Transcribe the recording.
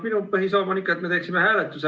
Minu põhisõnum on ikka, et me teeksime hääletuse.